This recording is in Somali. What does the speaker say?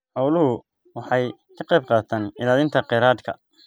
Xooluhu waxay ka qaybqaataan ilaalinta kheyraadka.